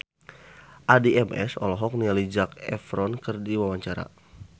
Addie MS olohok ningali Zac Efron keur diwawancara